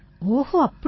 ஓஹோ அப்படியா